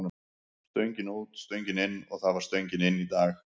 Stöngin út, stöngin inn og það var stöngin inn í dag.